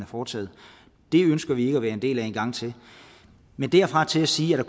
foretaget det ønsker vi ikke at være en del af en gang til men derfra og til at sige at